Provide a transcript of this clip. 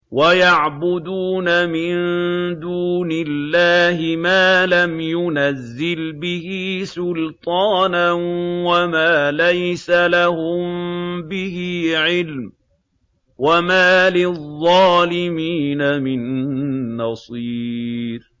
وَيَعْبُدُونَ مِن دُونِ اللَّهِ مَا لَمْ يُنَزِّلْ بِهِ سُلْطَانًا وَمَا لَيْسَ لَهُم بِهِ عِلْمٌ ۗ وَمَا لِلظَّالِمِينَ مِن نَّصِيرٍ